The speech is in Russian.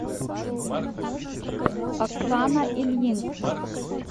оксана ильинская